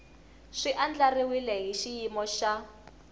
swi andlariwile hi xiyimo xa